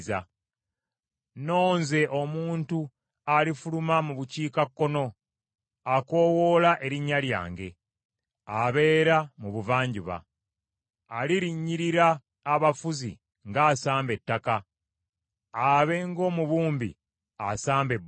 Nonze omuntu alifuluma mu bukiikakkono akoowoola erinnya lyange, abeera mu buvanjuba. Alirinnyirira abafuzi ng’asamba ettaka, abe ng’omubumbi asamba ebbumba.